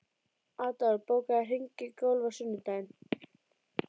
Adolf, bókaðu hring í golf á sunnudaginn.